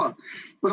Nii võiks ju ka.